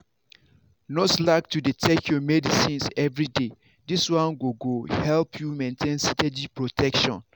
no slack to dey take your medicines everyday this one go go help you maintain steady protection.